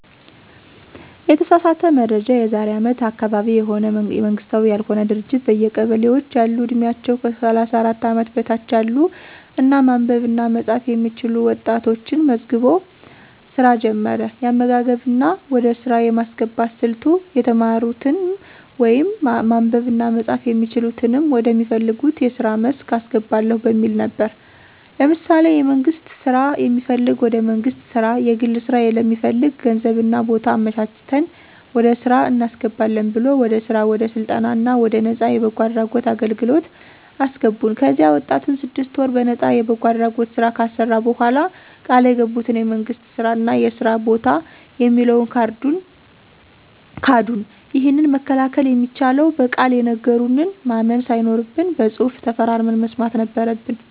የተሳሳተ መረጃ የዛሬ አመት አካባቢ የሆነ መንግስታዊ ያልሆነ ድርጅት በየቀበሌዎች ያሉ ዕድሜያቸው ከ 34 አመት በታች ያሉ እና ማንበብ እና መፃፍ የሚችሉ ወጣቶችን መዝግቦ ሥራ ጀመረ። የአመዘጋገብ እና ወደ ሥራ የማስገባት ሥልቱ የተማሩትንም ወይም ማንበብ እና መጻፍ የሚችሉትንም ወደ ሚፈልጉት የስራ መስክ አስገባለሁ በሚል ነበር። ለምሳሌ የመንግስት ስራ የሚፈልግ ወደ መንግስት ስራ፣ የግል ስራ ለሚፈልግ ገንዘብ እና ቦታ አመቻችተን ወደ ስራ እናስገባለን ብሎ ወደ ስራ ወደ ስልጠና እና ወደ ነፃ የበጎ አድራጎት አገልግለት አሰገቡን። ከዚያ ወጣቱን ስድስት ወር በነጣ የበጎ አድራጎት ስራ ካሰራ በኋላ ቃል የገቡትን የመንግስት ስራ እና የስራ በታ የሚለውን ካዱን። ይህንን መከላከል የሚቻለው በቃል የነገሩንን ማመን ሳይኖርብን በፅሁፍ ተፈራርመን መስማት ነበረበን።